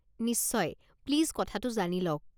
নিশ্চয়, প্লিজ কথাটো জানি লওক।